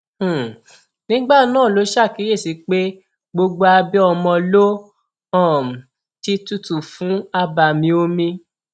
um nígbà náà ló ṣàkíyèsí pé gbogbo abẹ ọmọ ló um ti tutù fún abàmì omi